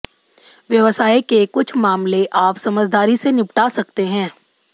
व्यवसाय के कुछ मामले आप समझदारी से निपटा सकते हैं